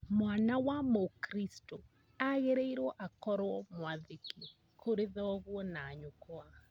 Mwana wa mũkristo agĩrĩirwo akorwo mwathĩki kũrĩ thoguo na nyũkwa